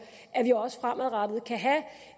at vi også fremadrettet kan have